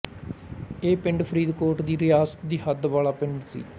ਇਹ ਪਿੰਡ ਫਰੀਦਕੋਟ ਦੀ ਰਿਆਸਤ ਦੀ ਹੱਦ ਵਾਲਾ ਪਿੰਡ ਸੀ